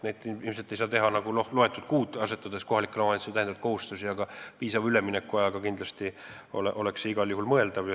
Neid ei saa ilmselt kohe teha, st loetud kuudega asetada kohalikele omavalitsustele täiendavaid kohustusi, aga piisava üleminekuajaga oleks see igal juhul mõeldav.